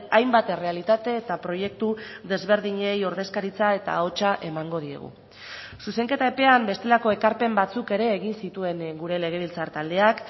hainbat errealitate eta proiektu desberdinei ordezkaritza eta ahotsa emango diegu zuzenketa epean bestelako ekarpen batzuk ere egin zituen gure legebiltzar taldeak